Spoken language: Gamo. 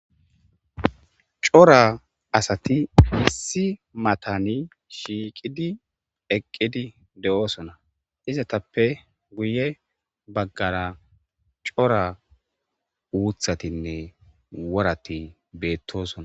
Cora asati issi mata shiiqidi eqid doosona. Izatape guye baggara cora uthatinne worati betosona.